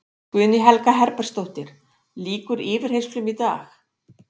Guðný Helga Herbertsdóttir: Lýkur yfirheyrslum í dag?